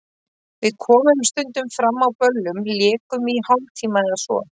Við komum stundum fram á böllum, lékum í hálftíma eða svo.